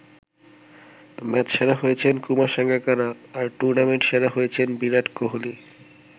Match সেরা হয়েছেন কুমার সাঙ্গাকারা আর টুর্নামেন্ট সেরা হয়েছেন বিরাট কোহলি।